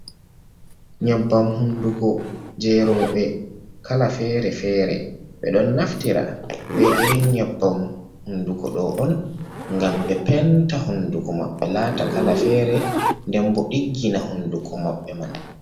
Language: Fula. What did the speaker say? Nyebbam hunduko je roɓe kala fere-fere, ɓe ɗon naftira be irin nyebbam hunduko ɗo on gam ɓe penta hunduko maɓɓe lata kala fere den bo ɗiggina hunduko maɓɓe man.